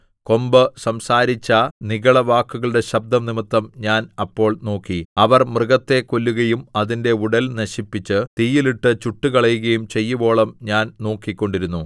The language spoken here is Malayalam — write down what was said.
കൊമ്പ് സംസാരിച്ച നിഗളവാക്കുകളുടെ ശബ്ദം നിമിത്തം ഞാൻ അപ്പോൾ നോക്കി അവർ മൃഗത്തെ കൊല്ലുകയും അതിന്റെ ഉടൽ നശിപ്പിച്ച് തീയിൽ ഇട്ട് ചുട്ടുകളയുകയും ചെയ്യുവോളം ഞാൻ നോക്കിക്കൊണ്ടിരുന്നു